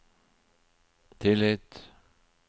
tillit